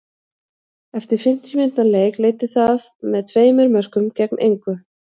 Eftir fimmtíu mínútna leik leiddi það með tveimur mörkum gegn engu.